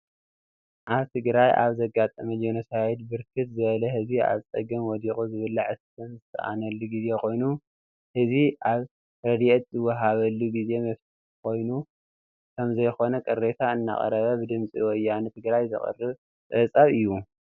አብ ትግራይ አብ ዘጋጠመ ጆኖሳይድ ብርክት ዝበለ ህዝቢ አብ ፀገም ወዲቁ ዝብላዕ ዝስተን ዝስአነሉ ግዜ ኮይኑ ህዝቢ አብ ረዴኤት ዝወሃበሉ ግዜ ፍትሓዊ ከም ዘይኮነ ቅሬታ እናቅረብ ድምፂ ወያነ ትግራይ ዘቅረቦ ፀብፃብ እዩ ።